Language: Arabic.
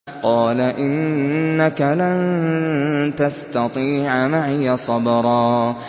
قَالَ إِنَّكَ لَن تَسْتَطِيعَ مَعِيَ صَبْرًا